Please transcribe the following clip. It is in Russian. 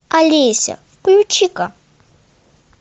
алеся включи ка